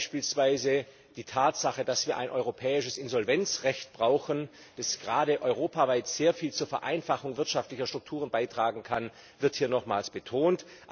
Beispielsweise wird die Tatsache, dass wir ein europäisches Insolvenzrecht brauchen, das gerade europaweit sehr viel zur Vereinfachung wirtschaftlicher Strukturen beitragen kann, hier nochmals betont.